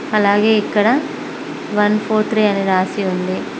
అలాగే ఇక్కడ one four three one అని రాసి ఉంది.